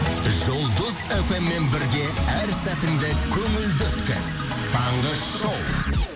жұлдыз фм мен бірге әр сәтіңді көңілді өткіз таңғы шоу